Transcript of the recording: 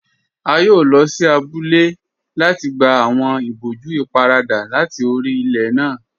A yóò lọ sí àbúlẹ̀ láti gbà awọn ìbòjú ìpárada láti orí ilẹ̀ náà.